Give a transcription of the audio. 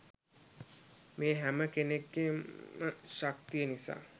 මේ හැම කෙනෙක්ගේම ශක්තිය නිසා.